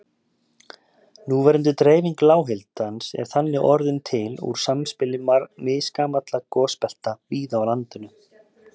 Núverandi dreifing lághitans er þannig orðin til úr samspili misgamalla gosbelta víða á landinu.